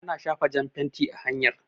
Ana shafa jan fenti a hanyar